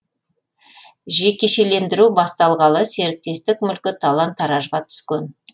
жекешелендіру басталғалы серіктестік мүлкі талан таражға түскен